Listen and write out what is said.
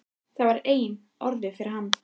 Það var eina orðið yfir hann.